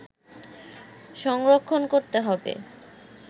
সংরক্ষণ করতে হব